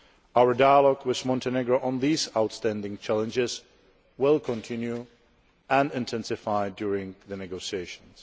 Our dialogue with Montenegro on these outstanding challenges will continue and intensify during the negotiations.